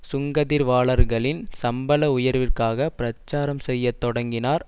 சுங்க தீர்வாளர்களின் சம்பள உயர்விற்காக பிரச்சாரம் செய்ய தொடங்கினார்